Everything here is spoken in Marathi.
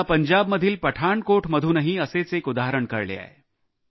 मला पंजाबमधील पठाणकोटमधूनही असेच एक उदाहरण कळले आहे